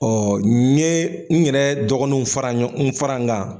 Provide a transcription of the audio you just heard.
n ye n yɛrɛ dɔgɔnunw fara ɲɔ n fara n kan